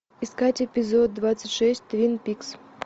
искать эпизод двадцать шесть твин пикс